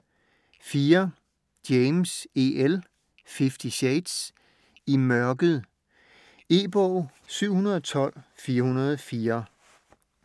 James, E. L.: Fifty shades: I mørket E-bog 712404